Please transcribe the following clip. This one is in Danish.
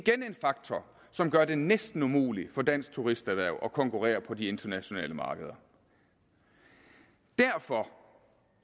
faktor som gør det næsten umuligt for dansk turisterhverv at konkurrere på de internationale markeder derfor